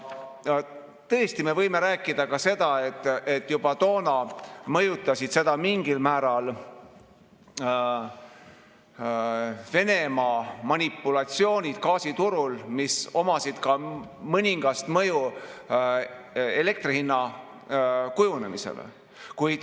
Tõesti, me võime rääkida ka seda, et juba toona mõjutasid seda mingil määral Venemaa manipulatsioonid gaasiturul, millel oli mõningane mõju elektri hinna kujunemisele.